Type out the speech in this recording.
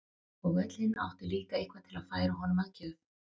Og öll hin áttu líka eitthvað til að færa honum að gjöf.